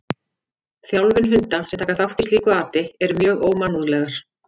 Þjálfun hunda sem taka þátt í slíku ati eru mjög ómannúðlegar.